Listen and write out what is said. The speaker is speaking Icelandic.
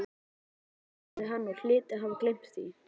Grjóni sagði að hann hlyti að hafa gleymt því.